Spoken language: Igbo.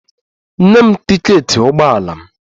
Nye m tiketi ụgbọ ala m!